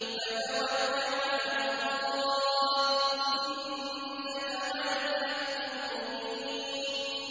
فَتَوَكَّلْ عَلَى اللَّهِ ۖ إِنَّكَ عَلَى الْحَقِّ الْمُبِينِ